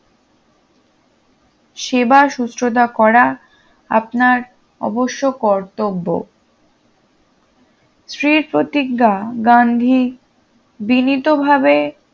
সেবা শুশ্রূষা করা আপনার অবশ্য কর্তব্য স্ত্রীর প্রতিজ্ঞা গান্ধী বিনিতভাবে